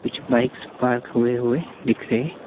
कुछ bikes park हुए हुए दिख रहे--